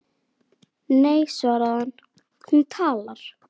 Nei svaraði hann, hún talar